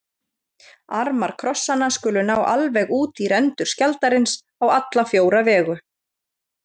armar krossanna skulu ná alveg út í rendur skjaldarins á alla fjóra vegu